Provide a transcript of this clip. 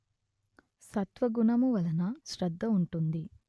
సత్వగుణము వలన శ్రద్ధ ఉంటుంది